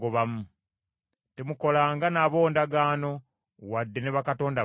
Temukolanga nabo ndagaano, wadde ne bakatonda baabwe.